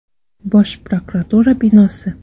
Bosh prokuratura binosi.